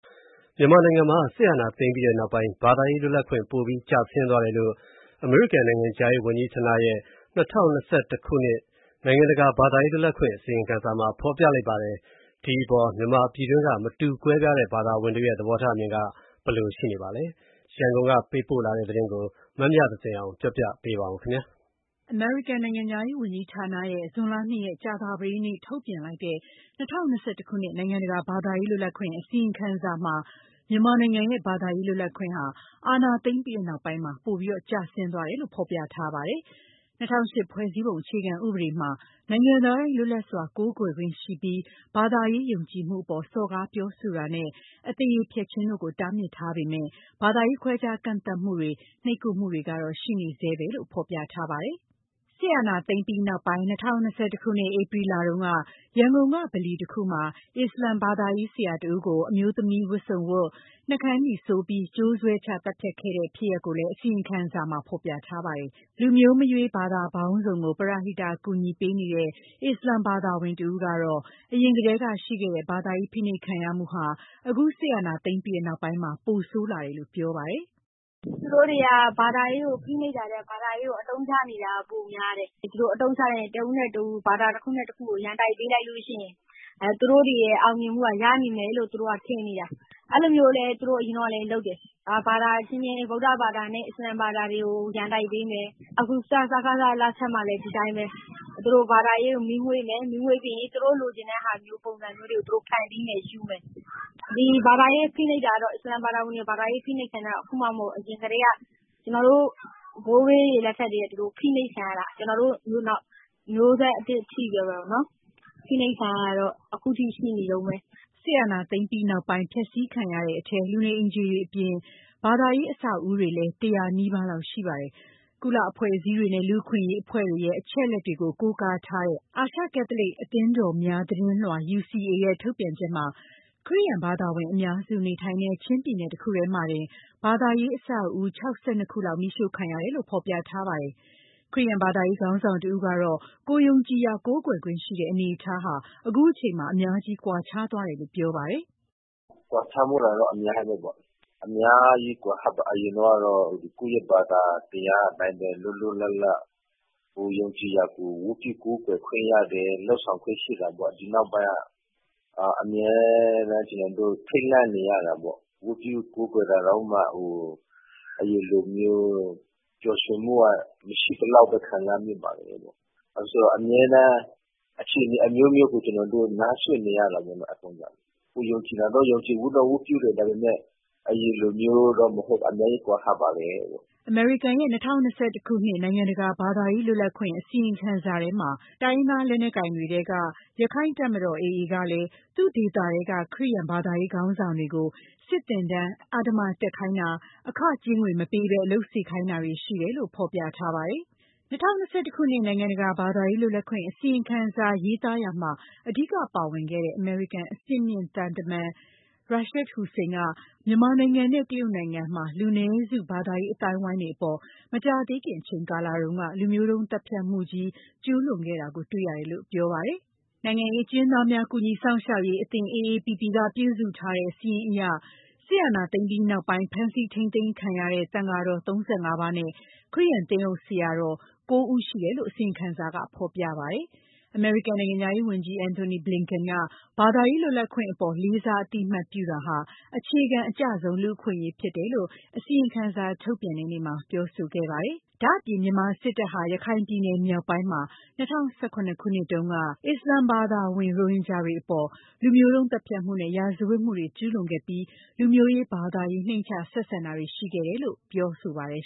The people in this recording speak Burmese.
မြန်မာနိုင်ငံမှာ စစ်အာဏာသိမ်းပြီးနောက်ပိုင်း ဘာသာရေးလွတ်လပ်ခွင့် ပိုပြီးကျဆင်းသွားတယ်လို့ အမေရိကန်နိုင်ငံခြားရေး ဝန်ကြီးဌာနရဲ့ ၂၀၂၁ ခုနှစ် နိုင်ငံတကာ ဘာသာရေးလွတ်လပ်ခွင့် အစီရင်ခံစာမှာ ဖော်ပြထားပါတယ်။ ပြည်တွင်းက မတူကွဲပြားတဲ့ဘာသာဝင်တွေရဲ့ သဘောထားအမြင်က ဘယ်လိုရှိနေပါသလဲ။ ရန်ကုန် ကပေးပိုတဲ့ ပေးပို့တဲ့ ဒီသတင်းကို မမြသဇင်အောင်က တင်ပြပေးထားပါတယ်။ အမေရိကန်နိုင်ငံခြားရေးဝန်ကြီးဌာနရဲ့ ဇွန်လ ၂ ရက်၊ ကြာသပတေးနေ့တုန်းကထုတ်ပြန်လိုက်တဲ့ ၂၀၂၁ ခုနှစ် နိုင်ငံတကာ ဘာသာရေးလွတ်လပ်ခွင့် အစီရင်ခံစာမှာ မြန်မာနိုင်ငံရဲ့ ဘာသာရေးလွတ်လပ်ခွင့်ဟာ အာဏာသိမ်းပြီးနောက်ပိုင်း ပိုပြီးကျဆင်းသွားတယ်လို့ ဖော်ပြထားပါတယ်။ ၂၀၀၈ ဖွဲ့စည်းပုံအခြေခံဥပဒေမှာ နိုင်ငံသားတိုင်း လွတ်လပ်စွာကိုးကွယ်ခွင့်ရှိပြီး ဘာသာရေးယုံကြည်မှုအပေါ် စော်ကားပြောဆိုတာနဲ့ အသရေဖျက်ခြင်းတို့ကို တားမြစ်ထားပေမယ့်လည်း ဘာသာရေးခွဲခြားကန့်သတ်မှုတွေ နှိပ်ကွပ်မှုတွေကတော့ ရှိနေဆဲလို့ ဖော်ပြပါတယ်။ စစ်အာဏာသိမ်းပြီးနောက်ပိုင်း ၂၀၂၁ ခုနှစ်၊ ဧပြီလတုန်းက ရန်ကုန်က ဗလီတခုမှာ မူဆလင်ဘာသာရေး ဆရာတဦးကို အမျိုးသမီးဝတ်စုံဝတ်၊ နှုတ်ခမ်းနီဆိုးပြီး ကြိုးဆွဲချသတ်ခဲ့တဲ့ ဖြစ်ရပ်ကိုလည်း အစီရင်ခံစာမှာ ဖော်ပြထားပါတယ်။ လူမျိုးမရွေး ဘာသာပေါင်းစုံကို ပရဟိတကူညီပေးနေတဲ့ အစ္စလာမ်ဘာသာဝင်တဦးကတော့ အရင်ကတည်းက ရှိခဲ့တဲ့ ဘာသာရေးဖိနှိပ်ခံရမှုဟာ အခုစစ်အာဏာသိမ်းပြီးနောက်ပိုင်းမှာ ပိုပြီးဆိုးလာတယ်လို့ ပြောပါတယ်။ "သူတို့တွေက ဘာသာရေးကို ဖိနှိပ်တာထက် ဘာသာရေးကို အသုံးချနေတာက ပိုများတယ်။ ဒီလိုအသုံးချလိုက်ရင် တဦးနဲ့တဦး၊ ဘာသာတခုနဲ့ တခုကို ရန်တိုက်ပေးလိုက်လို့ရှိရင် သူတို့တွေရဲ့အောင်မြင်မှုက ရလိမ့်မယ် လို့ ထင်နေတာ။ အဲလိုမျိုးလည်း သူတို့အရင်တုန်းက လုပ်တယ်။ ဘာသာအချင်းချင်း ဗုဒ္ဓဘာသာနဲ့ အစ္စလာမ်ဘာသာတွေကို ရန်တိုက်ပေးမယ်။ အခု စကစလက်ထက်မှာလည်း ဒီအတိုင်းပဲ။ သူတို့ဘာသာရေးကို မီးမွှေးမယ်။ မီးမွှေးပြီးရင် သူတို့လိုချင်တဲ့ပုံစံမျိုးတွေကို ဖန်တီးမယ်၊ ယူမယ်။ အစ္စလာမ်ဘာသာဝင်တွေကို ဘာသာရေးဖိနှိပ်တာက အခုမှမဟုတ်ဘူး။ ကျနော်တို့ ဘိုးဘေးတွေလက်ထက်ကတည်းက ဖိနှိပ်ခံရတာ ကျမတို့အခု မျိုးဆက်သစ်အထိပဲပေါ့နော်။" စစ်အာဏာသိမ်းပြီးနောက်ပိုင်း ဖျက်စီးခံရတဲ့အထဲ လူနေအိမ်ခြေတွေအပြင် ဘာသာရေးအဆောက်အဦတွေလည်း ၁၀၀ နီးပါးလောက်ရှိပါတယ်။ ကုလအဖွဲ့အစည်းတွေနဲ့ လူ့အခွင့်အရေးအဖွဲ့တွေရဲ့ အချက်အလက်ကို ကိုးကားထားတဲ့ အာရှကက်သလစ် အသင်းတော်များသတင်လွှာ UCA ရဲ့ ထုတ်ပြန်ချက်မှာ ခရစ်ယာန်ဘာသာဝင်အများစု နေထိုင်တဲ့ ချင်းပြည်နယ်တခုတည်းမှာတင် ဘာသာရေးအဆောက်အဦ ၆၂ ခုလောက် မီးရှို့ခံရတယ်လို့ ဖော်ပြထားပါတယ်။ ခရစ်ယာန်ဘာသာရေး ခေါင်းဆောင်တဦးကတော့ ကိုယ်ယုံကြည်ရာ ကိုးကွယ်ခွင့်ရှိတဲ့အနေအထားဟာ အခုချိန်မှာ အများကြီးကွာခြားသွားတယ်လို့ ပြောပါတယ်။ "ကွာခြားသွားတာတော့ အများကြီးပဲပေါ့။ အရင်တုန်းကတော့ ကိုယ့်ရဲ့ဘာသာတရားအတိုင်းပဲ လွတ်လွတ်လပ်လပ် ကိုယ်ယုံကြည်ရာကို ဝတ်ပြုကိုးကွယ်ခွင့်ရတယ်၊ လုပ်ဆောင်ခွင့်ရှိတာပေါ့။ ဒီနောက်ပိုင်းက အမြဲတမ်း ကျနော်တို့ ထိတ်လန့်နေရတာပေါ့။ ဝတ်ပြုကိုးကွယ်တာတောင်မှ အရင်လိုမျိုး ပျော်ရွှင်မှုကမရှိသလောက် ခံစားမိပါတယ်ပေါ့။ ဘာဖြစ်လို့လဲဆိုတော့ အမြဲတမ်း အခြေအနေအမျိုးမျိုးကို အခုကနားစွင့်နေရတာပေါ့နော်။ ကိုယ်ယုံကြည်ရာတော့ ယုံကြည်မှုနဲ့ဝတ်ပြုတယ်။ အရင်လိုမျိုးတော့မဟုတ်၊ အများကြီးကွာဟပါတယ်။" အမေရိကန်ရဲ့ ၂၀၂၁ ခုနှစ် နိုင်ငံတကာ ဘာသာရေးလွတ်လပ်ခွင့် အစီရင်ခံစာထဲမှာ မြန်မာစစ်တပ်အပြင် တိုင်းရင်းသားလက်နက်ကိုင်တွေထဲက ရခိုင့်တပ်မတော် AA ကလည်း သူ့ဒေသထဲက ခရစ်ယာန်ဘာသာရေး ခေါင်းဆောင်တွေကို စစ်သင်တန်း အဓမ္မတက်ခိုင်းတာ၊ အခကြေးငွေမပေးဘဲ အလုပ်ခိုင်းစေတာတွေ ရှိတယ်လို့ ဖော်ပြထားပါတယ်။ ၂၀၂၁ ခုနှစ် နိုင်ငံတကာ ဘာသာရေးလွတ်လပ်ခွင့် အစီရင်ခံစာ ရေးသားရာမှာ အဓိကပါဝင်ခဲ့တဲ့ အမေရိကန် အဆင့်မြင့်သံတမန် Rashad Hussain က မြန်မာနိုင်ငံနဲ့ တရုတ်နိုင်ငံမှာ လူနည်းစုဘာသာရေး အသိုင်းအဝိုင်းအပေါ် မကြာသေးခင်အချိန်ကာလတုန်းက လူမျိုးတုန်းသတ်ဖြတ်မှုကြီး ကျူးလွန်ခဲ့တာကို တွေ့ရတယ်လို့ပြောပါတယ်။ နိုင်ငံရေးအကျဉ်းသားများ ကူညီစောင့်ရှောက်ရေးအသင်း AAPP က ပြုစုထားတဲ့စာရင်းအရဆို စစ်အာဏာသိမ်းပြီးနောက်ပိုင်း ဖမ်းဆီးထိန်းသိမ်းခံထားရတဲ့ သံဃာတော် ၃၅ ပါးနဲ့ ခရစ်ယာန်သင်းအုပ် ဆရာတော် ၉ ဦးရှိတယ်လို့လည်း အစီရင်ခံစာမှာ ဖော်ပြထားပါတယ်။ အမေရိကန်နိုင်ငံခြားရေးဝန်ကြီး Antony Blinken က ဘာသာရေးလွတ်လပ်ခွင့်အပေါ် လေးစားအသိအမှတ်ပြုတာဟာ အခြေခံအကျဆုံး လူ့အခွင့်အရေးဖြစ်တယ်လို့ အစီရင်ခံစာ ထုတ်ပြန်ပွဲနေ့မှာ ပြောခဲ့ပါတယ်။ ဒါ့အပြင် မြန်မာစစ်တပ်ဟာ ရခိုင်ပြည်နယ်မြောက်ပိုင်းမှာ ၂၀၁၇ ခုနှစ်တုန်းက ရိုဟင်ဂျာ အစ္စလာမ်ဘာသာဝင်တွေအပေါ် လူမျိုးတုန်းသတ်ဖြတ်မှုနဲ့ ရာဇဝတ်မှုတွေ ကျူးလွန်ခဲ့ပြီး လူမျိုးရေး၊ ဘာသာရေး နှိမ့်ချဆက်ဆံတာတွေ ရှိခဲ့တယ်လို့ ပြောပါတယ်